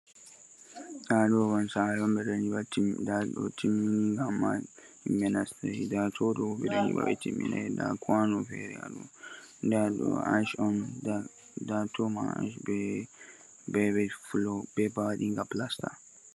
Aya ɗoo ban saare on ɓe ɗo nyiɓa timmiday, ndaa ɗoo timmiinga ammaa yimɓe nastay. Ndaa too ɗoo ɓe ɗo nyiɓa ɓe timminay, ndaa kwaano feere haa ɗoo, ndaa ɗoo ash on ndaa too maa ash bee web fuloo bee ba waɗiinga pilasta.